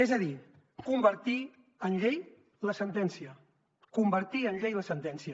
és a dir convertir en llei la sentència convertir en llei la sentència